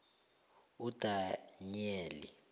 udanyeli